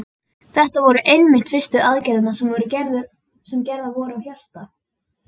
Þetta voru einmitt fyrstu aðgerðirnar sem gerðar voru á hjarta.